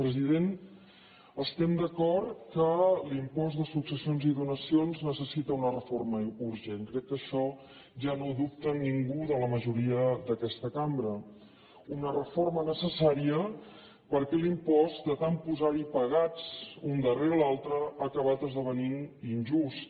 president estem d’acord que l’impost de successions i donacions necessita una reforma urgent crec que això ja no ho dubta ningú de la majoria d’aquesta cambra una reforma necessària perquè l’impost de tant posar hi pegats un darrere l’altre ha acabat esdevenint injust